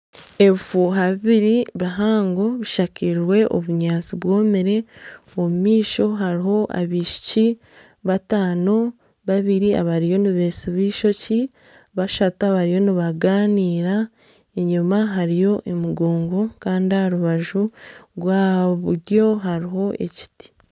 Ebifuuha bibiri bihango bishakirwe obunyaatsi bwomire omu maisho hariho abaishiki bataano, babiri abariyo nibetsiba eishookye, bashatu abariyo nibanganira enyima hariyo emigongo kandi aha rubaju rwa buryo hariho ekiti.